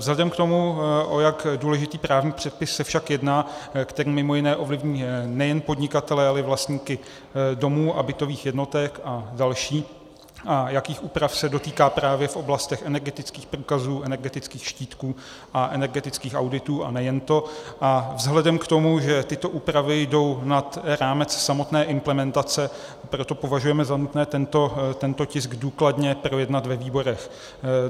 Vzhledem k tomu, o jak důležitý právní předpis se však jedná, který mimo jiné ovlivní nejen podnikatele, ale i vlastníky domů a bytových jednotek a další, a jakých úprav se dotýká právě v oblastech energetických průkazů, energetických štítků a energetických auditů, a nejen to, a vzhledem k tomu, že tyto úpravy jdou nad rámec samotné implementace, proto považujeme za nutné tento tisk důkladně projednat ve výborech.